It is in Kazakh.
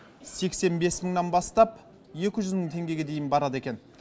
сексен бес мыңнан бастап екі жүз мың теңгеге дейін барады екен